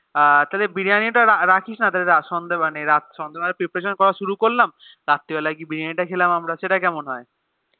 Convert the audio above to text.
আর তাহলে Biriyani তা রাখিসনা সন্ধে বেলা Preparation করা শুরু করবি তাপর ৰাতিৰ বেলা গিয়ে বিরিয়ানি তা খেলাম আমরা সেটা কেমন হয়ে